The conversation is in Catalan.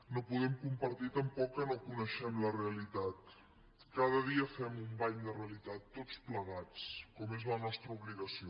no podem compartir tampoc que no coneixem la realitat cada dia fem un bany de realitat tots plegats com és la nostra obligació